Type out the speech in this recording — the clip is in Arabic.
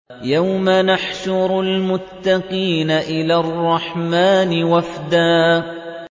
يَوْمَ نَحْشُرُ الْمُتَّقِينَ إِلَى الرَّحْمَٰنِ وَفْدًا